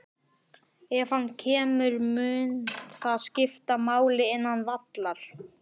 Ef hann kemur, mun það skipta máli innan vallar?